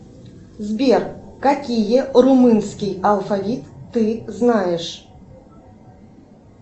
сбер какие румынский алфавит ты знаешь